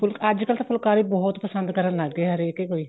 ਅੱਜਕਲ ਤਾਂ ਫੁਲਕਾਰੀ ਬਹੁਤ ਪਸੰਦ ਕਰਨ ਲੱਗ ਗਏ ਹਰੇਕ ਕੋਈ